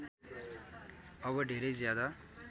अब धेरै ज्यादा